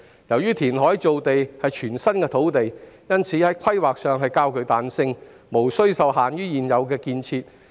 由於填海造地涉及全新土地，所以土地規劃較具彈性，無須受限於現有的建設。